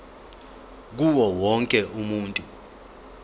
kuwo wonke umuntu